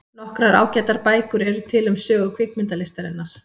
Nokkrar ágætar bækur eru til um sögu kvikmyndalistarinnar.